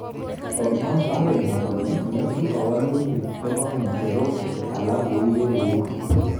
Komwa Pareno kole, ng'etu kawalutik chebo ng'echerok alak kou ye kou